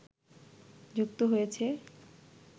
যুক্ত হয়েছে